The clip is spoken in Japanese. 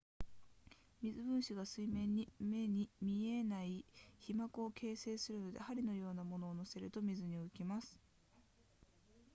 水分子が水面に目に見えない被膜を形成するので針のような物を載せると水に浮きます